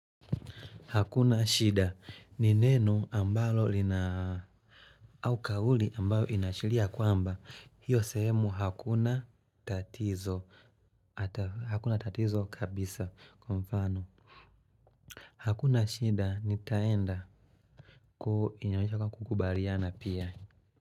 Hakuna shida ni neno ambalo lina au kauli ambayo inaashiria kwamba hiyo sehemu hakuna tatizo ata hakuna tatizo kabisa kwa mfano Hakuna shida nitaenda ku inaonyesha kwamba kukubaliana pia.